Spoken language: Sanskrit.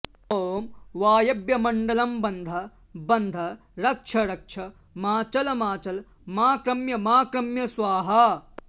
ॐ वायव्यमण्डलं बन्ध बन्ध रक्ष रक्ष माचल माचल माक्रम्य माक्रम्य स्वाहा